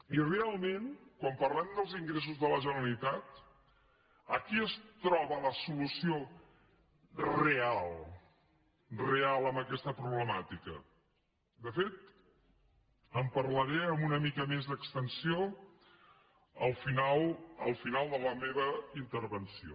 i realment quan parlem dels ingressos de la generalitat aquí es troba la solució real real amb aquesta problemàtica de fet en parlaré amb una mica més d’extensió al final de la meva intervenció